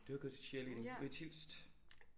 Du har gået til cheerleading ude i Tilst